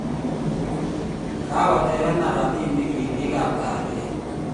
Kakotebenaa robinik ribikab kalyet